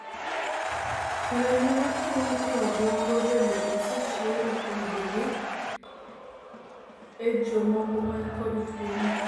remo machung' e e obwongo bende osechiw ripodegi e jomoko manikod tuoni